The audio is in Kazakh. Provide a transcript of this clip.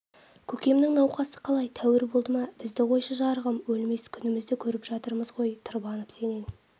көкемнің науқасы қалай тәуір болды ма бізді қойшы жарығым өлмес күнімізді көріп жатырмыз ғой тырбанып сенен